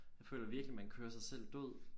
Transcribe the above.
Jeg føler virkelig man kører sig selv død